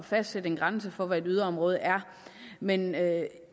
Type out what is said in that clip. fastsætte en grænse for hvad et yderområde er men jeg